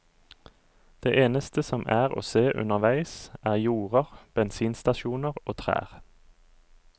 Det eneste som er å se underveis, er jorder, bensinstasjoner og trær.